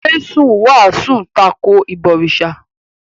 Jésù wàásù tako “ìbọ̀rìsà”.